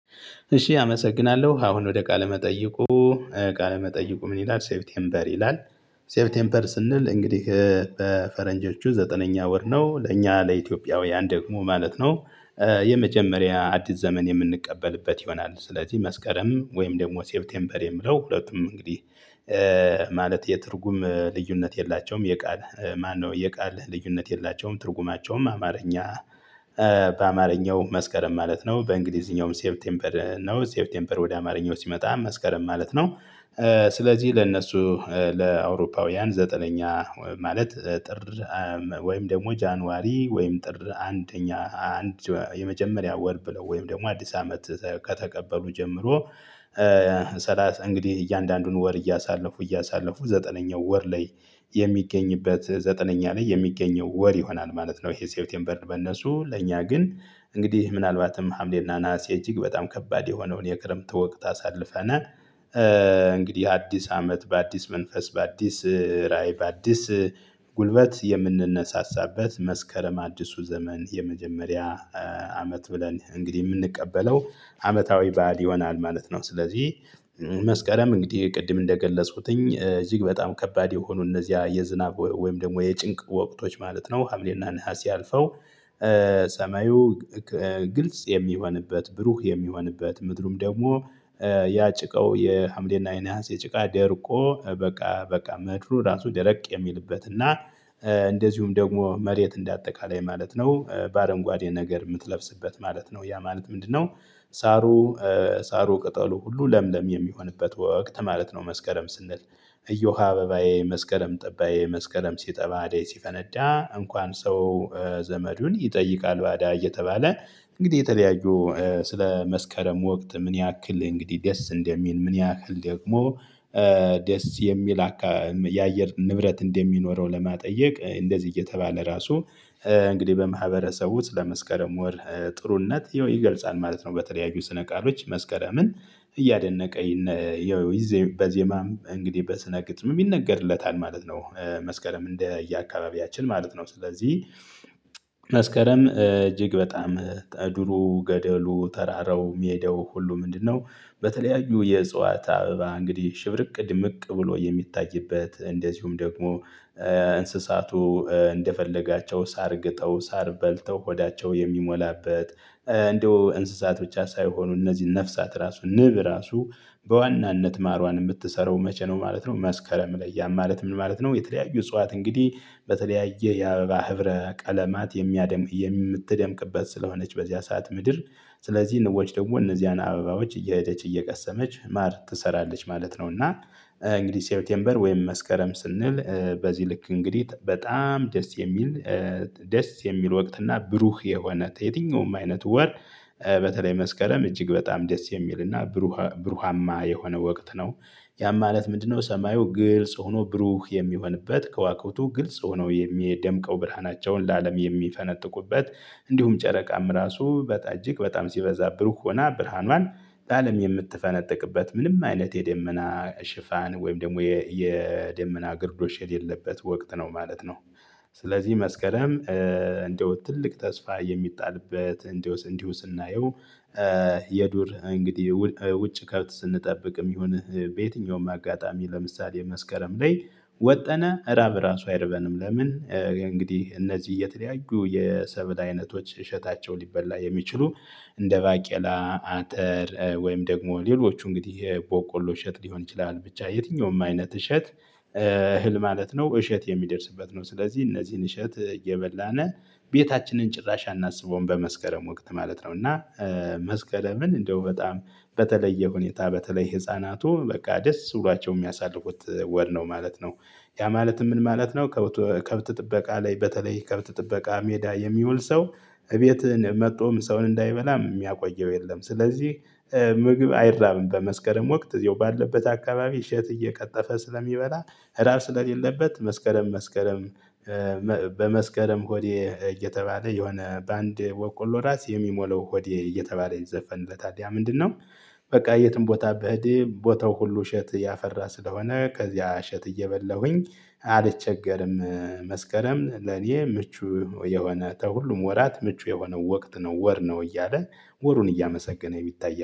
እሺ አመሰግናለሁ አሁን ወደ ቃለ መጠይቁ ቃለ መጠይቁ ምን? ይላል ሴፕቴምበር ይላል ሴፕቴምበር ስንል እንግዲህ በፈረንጆቹ ዘጠነኛ ወር ነው ለእኛ ለኢትዮጵያውያን ደግሞ ማለት ነው። የመጀመሪያ አዲስ ዘመን የምንቀበልበት ይሆናል ስለዚህ መስከረም ወይም ደግሞ ሴፕቴምበር የሚለው ሁለቱም እንግዲህ። ማለት የትርጉም ልዩነት የላቸውም የቃል ማነው የቃል ልዩነት የላቸውም ትርጉማቸውም አማርኛ። በአማርኛው መስከረም ማለት ነው በእንግሊዝኛውም ሴፕቴምበር ነው ሴፕቴምበር ወደ አማርኛው ሲመጣ መስከረም ማለት ነው። ስለዚህ ለእነሱ ለአውሮፓውያን ዘጠነኛ ማለት ጥር ወይም ደግሞ ጃንዋሪ ወይም ጥር አንደኛ አንድ የመጀመሪያ ወር ብለው ወይም ደግሞ አዲስ አመት ከተቀበሉ ጀምሮ። ስላሳ እንግዲህ እያንዳንዱን ወር እያሳለፉ እያሳለፉ ዘጠነኛው ወር ላይ የሚገኝበት ዘጠነኛ ላይ የሚገኘው ወር ይሆናል ማለት ነው። ይሄ ሴፕቴምበር በነሱ ለእኛ ግን እንግዲህ ምናልባትም ሀምሌና እና ነሀሴ እጅግ በጣም ከባድ የሆነውን የክረምት ወቅት አሳልፈናል። እንግዲህ አዲስ አመት በአዲስ መንፈስ በአዲስ ራዕይ በአዲስ ጉልበት የምንነሳሳበት መስከረም አዲሱ ዘመን የመጀመሪያ አመት ብለን እንግዲህ የምንቀበለው አመታዊ ባእል ይሆናል ማለት ነው። ስለዚህ መስከረም እንግዲህ ቅድም እንደገለጽኩትኝ እጅግ በጣም ከባድ የሆኑ እነዚያ የዝናብ ወይም ደግሞ የጭንቅ ወቅቶች ማለት ነው ሀምሌና ነሀሲ አልፈው። ሰማዩ ግልጽ የሚሆንበት ብሩህ የሚሆንበት ምድሩም ደግሞ ያጭቃው የሀምሌና የነሀሴ ጭቃ ደርቆ በቃ በቃ ምድሩ ራሱ ደረቅ የሚልበት እና እንደዚሁም ደግሞ መሬት እንደ አጠቃላይ ማለት ነው በአረንጓዴ ነገር የምትለብስበት ማለት ነው። ያ ማለት ምንድነው? ሳሩ ሳሩ ቅጠሉ ሁሉ ለምለም የሚሆንበት ወቅት ማለት ነው። መስከረም ስንል እዮሃ አበባዬ መስከረም ጠባዬ መስከረም ሲጠባ አደይ ሲፈነዳ እንኳን ሰው ዘመዱን ይጠይቃል ባዳ እየተባለ እንግዲህ የተለያዩ ስለ መስከረም ወቅት ምን ያክል እንግዲህ ደስ እንደሚል ምን ያክል ደግሞ ደስ የሚል የአየር ንብረት እንደሚኖረው ለማጠየቅ እንደዚህ እየተባለ ራሱ እንግዲህ በማህበረሰቡ ስለመስከረም ወር ጥሩነት ይገልጻል ማለት ነው። በተለያዩ ስነ ቃሎች መስከረምን እያደነቀ ይዘው በዜማም እንግዲህ በስነ ግጥም የሚነገርለት ማለት ነው። መስከረም እንደ የአካባቢያችን ማለት ነው። ስለዚህ መስከረም እጅግ በጣም ድሮ ገደሉ ተራራው ሜዳው ሁሉ ምንድነው? በተለያዩ የእጽዋት አበባ እንግዲህ ሽብርቅ ድምቅ ብሎ የሚታይበት እንደዚሁም ደግሞ እንስሳቱ እንደፈለጋቸው ሳር ግጠው ሳር በልተው ሆዳቸው የሚሞላበት እንደው እንስሳት ብቻ ሳይሆኑ እነዚህን ነፍሳት ራሱ ንብ ራሱ በዋናነት ማርዋን የምትሰራው መቼ ነው ማለት ነው። መስከረም ላይ ያ ማለት ምን ማለት ነው? የተለያዩ እጽዋት እንግዲህ በተለያየ የአበባ ህብረ ቀለማት የሚያደምቅ የምትደምቅበት ስለሆነች በዚያ ሰዓት ምድር ስለዚህ ንቦች ደግሞ እነዚያን አበባዎች እየሄደች እየቀሰመች ማር ትሰራለች ማለት ነው። እና እንግዲህ ሴፕቴምበር ወይም መስከረም ስንል በዚህ ልክ እንግዲህ በጣም ደስ የሚል ደስ የሚል ወቅት እና ብሩህ የሆነ የትኛውም አይነት ወር በተለይ መስከረም እጅግ በጣም ደስ የሚልና ብሩሃማ የሆነ ወቅት ነው። ያም ማለት ምንድነው? ሰማዩ ግልጽ ሆኖ ብሩህ የሚሆንበት ከዋክብቱ ግልጽ ሆነው የሚደምቀው ብርሃናቸውን ለአለም የሚፈነጥቁበት እንዲሁም ጨረቃም ራሱ በቃ እጅግ በጣም ሲበዛ ብሩህ ሆና ብርሃኗን ለአለም የምትፈነጥቅበት ምንም አይነት የደመና ሽፋን ወይም ደግሞ የደመና ግርዶሽ የሌለበት ወቅት ነው ማለት ነው። ስለዚህ መስከረም እንደው ትልቅ ተስፋ የሚጣልበት እንዲሁ ስናየው። የዱር እንግዲህ ውጭ ከብት ስንጠብቅም ይሁን በየትኛውም አጋጣሚ ለምሳሌ መስከረም ላይ ወጠን ራብ ራሱ አይርበንም። ለምን እንግዲህ እነዚህ የተለያዩ የሰበል አይነቶች እሸታቸው ሊበላ የሚችሉ እንደ ባቄላ አጠር ወይም ደግሞ ሌሎቹ እንግዲህ በቆሎ እሸት ሊሆን ይችላል። ብቻ የትኛውም አይነት እሸት እህል ማለት ነው እሸት የሚደርስበት ነው። ስለዚህ እነዚህን እሸት እየበላን ቤታችንን ጭራሽ አናስበውም በመስከረም ወቅት ማለት ነው። እና መስከረምን እንደው በጣም በተለየ ሁኔታ በተለይ ህፃናቱ በቃ ደስ ብሏቸው የሚያሳልፉት ወር ነው ማለት ነው። ያ ማለት ምን ማለት ነው? ከብት ጥበቃ ላይ በተለይ ከብት ጥበቃ ሜዳ የሚውል ሰው እቤትህን መጥቶም ሰውን እንዳይበላም የሚያቆየው የለም። ስለዚህ ምግብ አይራብም በመስከረም ወቅት ያው ባለበት አካባቢ እሸት እየቀጠፈ ስለሚበላ ህዳር ስለሌለበት መስከረም መስከረም። በመስከረም ሆዴ እየተባለ የሆነ በአንድ በቆሎ ራስ የሚሞለው ሆዴ እየተባለ ይዘፈንለታል ያ ምንድነው? በቃ የትም ቦታ ብሄድም ቦታው ሁሉ እሸት ያፈራ ስለሆነ ከዚያ እሸት እየበላሁኝ አልቸገርም። መስከረም ለኔ ምቹ የሆነ ተሁሉም ወራት ምቹ የሆነ ወቅት ነው ወር ነው። እያለ ወሩን እያመሰገነ የሚታይ